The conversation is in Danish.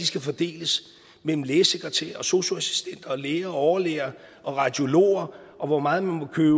skal fordeles mellem af lægesekretærer og sosu assistenter og læger og overlæger og radiologer og hvor meget man må købe